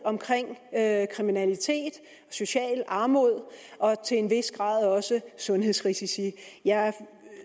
af kriminalitet socialt armod og til en vis grad også sundhedsrisici jeg